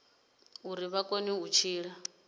uri vha kone u tshila